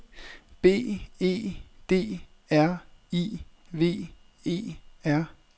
B E D R I V E R